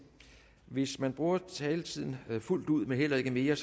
hvis man bruger taletiden fuldt ud men heller ikke mere